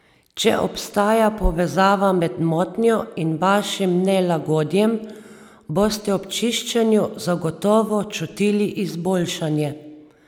Če obstaja povezava med motnjo in vašim nelagodjem, boste ob čiščenju zagotovo čutili izboljšanje.